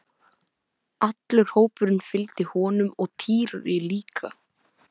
Allur hópurinn fylgdi honum og Týri líka!